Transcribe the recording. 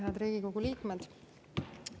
Head Riigikogu liikmed!